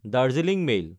Darjeeling mail